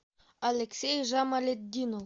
алексей жамалетдинов